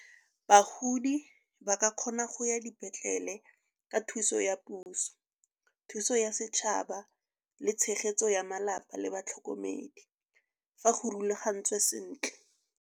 Bagodi ba ka kgona go ya dipetlele ka thuso ya puso, thuso ya setšhaba le tshegetso ya malapa le batlhokomedi. Fa go rulagantswe sentle.